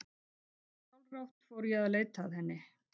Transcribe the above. Ósjálfrátt fór ég að leita að henni.